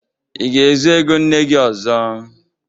Ị ga-ezu ego nne gị ọzọ?